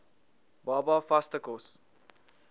baba vaste kos